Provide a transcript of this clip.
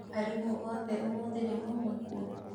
Arimũ othe ũmũthĩ nĩmauma kuo?